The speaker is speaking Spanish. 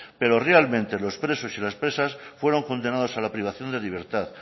pero realmente los presos y las presas fueron condenados a la privación de libertad